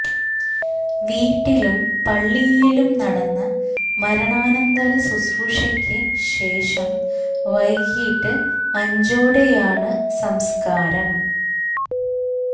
വീട്ടിലും പള്ളിയിലും നടന്ന മരണാന്തര ശുശ്രൂഷകള്ക്ക് ശേഷം വൈകീട്ട് അഞ്ചോടെയാണ് സംസ്കാരം